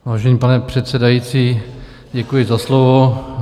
Vážený pane předsedající, děkuji za slovo.